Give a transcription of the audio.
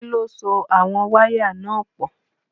Kí ló so àwọn wáyà náà pọ̀?